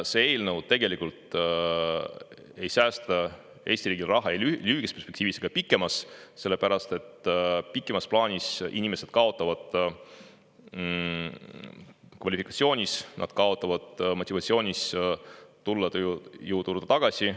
See eelnõu tegelikult ei säästa Eesti riigi raha ei lühikeses perspektiivis ega pikemas, sellepärast et pikemas plaanis inimesed kaotavad kvalifikatsioonis, nad kaotavad motivatsioonis tulla tööjõuturule tagasi.